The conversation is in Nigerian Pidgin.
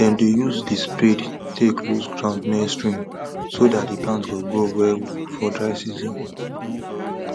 dem dey use the spade take loose ground near stream so that the plant go grow well for dry season